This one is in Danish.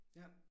Ja